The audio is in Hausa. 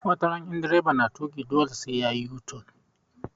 Wataran in direba na tuƙi dole sai yayi u-turn